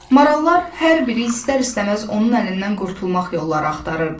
Marallar hər biri istər-istəməz onun əlindən qurtulmaq yolları axtarırdı.